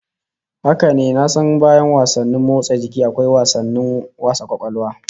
Haka ne, na san bayan wasanni motsa jiki akwa wasannin wasa kwakwalwa